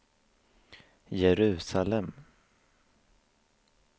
Jerusalem